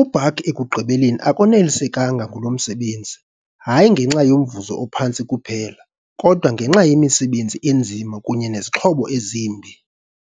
UBach ekugqibeleni akonelisekanga ngulo msebenzi, hayi ngenxa yomvuzo ophantsi kuphela, kodwa nangenxa yemisebenzi enzima kunye nezixhobo ezimbi.